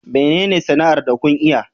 Menene sana'ar da kun iya?